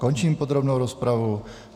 Končím podrobnou rozpravu.